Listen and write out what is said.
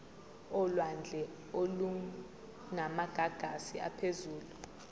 olwandle olunamagagasi aphezulu